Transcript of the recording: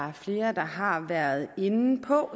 er flere der har været inde på